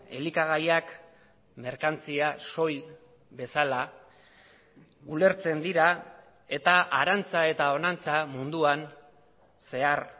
elikagaiak merkantzia soil bezala ulertzen dira eta harantza eta honantza munduan zehar